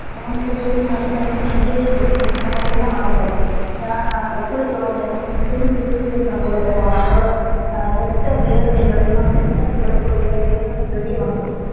நம்ப வந்து இந்த சூடு நேரத்துல வந்து தண்ணீலே இருக்கணும் அந்த மாதிரிதா ஆசபடுவோம் ஹம் குளிக்கணும் எப்போதும் குளிச்சிகிட்டே இருக்கணும் போல இருக்கும் நம்பலோட கெட்ட வியர்வைய எல்லாம் கெட்ட கொழுப்பு வியர்வைய எல்லாமே வெளிய வந்துரும்